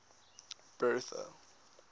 bertha